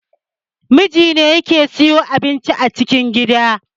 Namiji ne ke siyo abinci a cikin gida